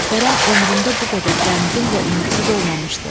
Kərəm ömründə bu qədər qəmgin və ümidsiz olmamışdı.